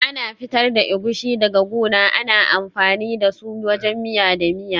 Ana fitar da Egusi daga guna, ana amfani da su wajen miya da miya.